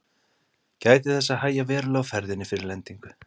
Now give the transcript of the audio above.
Gætið þess að hægja verulega á ferðinni fyrir lendingu.